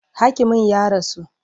Hakimin ya rasu.